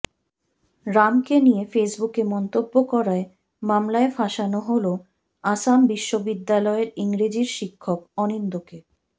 রামকে নিয়ে ফেসবুকে মন্তব্য করায় মামলায় ফাঁসানো হল আসাম বিশ্ববিদ্যালয়ের ইংরেজির শিক্ষক অনিন্দ্যকে